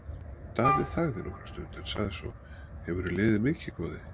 Daði þagði nokkra stund en sagði svo:-Hefurðu liðið mikið, góði?